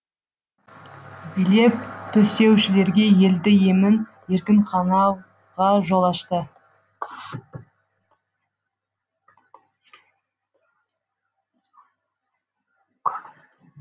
билеп төстеушілерге елді емін еркін қанауға жол ашты